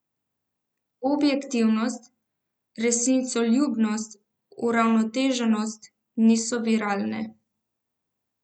Objektivnost, resnicoljubnost, uravnoteženost niso viralne.